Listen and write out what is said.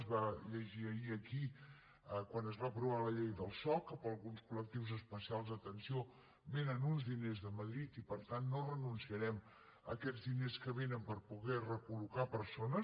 es va llegir ahir aquí quan es va aprovar la llei del soc que per a alguns colespecials d’atenció vénen uns diners de madrid i per tant no renunciarem a aquests diners que vénen per poder recol·locar persones